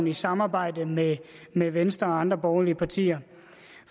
i samarbejde med med venstre og andre borgerlige partier